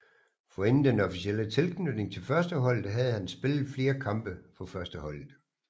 Forinden den officielle tilknytning til førsteholdet havde han spillet flere kampe for førsteholdet